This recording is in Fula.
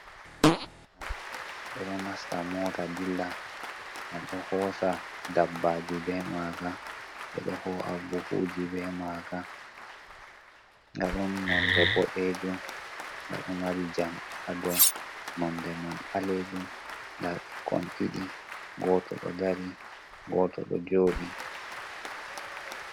Mota, ɓe ɗo nasta mota dilla. Ɓe ɗo hosa dabbaji be maaga. Ɓe ɗo ho'a buhuji be maaga. Nga ɗum nonde boɗeejum, nga ɗo mari jamɗe ha dou, nonde man ɓaleejum. Nda ɓikkon ɗiɗi, goto ɗo dari, goto ɗo jooɗi.